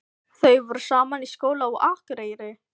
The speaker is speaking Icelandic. Þau voru saman í skóla á Akureyri.